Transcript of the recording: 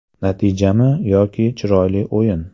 Natijami yoki chiroyli o‘yin?